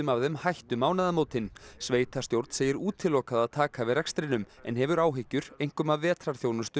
af þeim hætt um mánaðamótin sveitarstjórn segir útilokað að taka við rekstrinum en hefur áhyggjur einkum af vetrarþjónustu